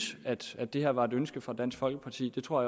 at det her var et ønske fra dansk folkeparti jeg tror